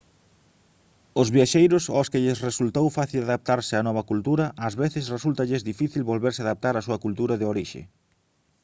os viaxeiros aos que lles resultou fácil adaptarse á nova cultura ás veces resúltalles difícil volverse adaptar á súa cultura de orixe